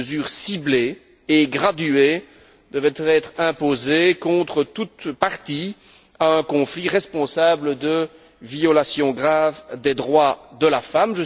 Des mesures ciblées et graduées devraient être imposées contre toute partie à un conflit responsable de violations graves des droits de la femme.